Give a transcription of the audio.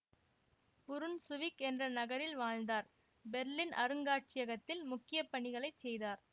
Brunswick என்ற நகரில் வாழ்ந்தார் பெர்லின் அருங்காட்சியகத்தில் முக்கிய பணிகளை செய்தார்